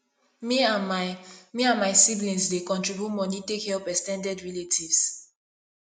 me and my me and my siblings dey contribute moni take help ex ten ded relatives